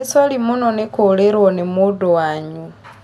Nĩ sori mũno nĩ kurĩrwo nĩ mũndũ wanyu